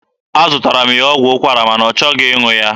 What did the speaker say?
Azụtaara m ya ọgwụ ụkwara ma na ọ chọghị ịṅụ ya.